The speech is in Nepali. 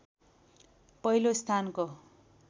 पहिलो स्थानको